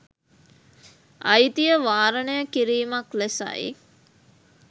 අයිතිය වාරණය කිරීමක් ලෙසයි